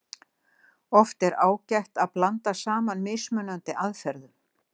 Oft er ágætt að blanda saman mismunandi aðferðum.